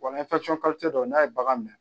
Wa ni dɔ n'a ye bagan minɛ